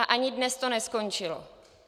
A ani dnes to neskončilo.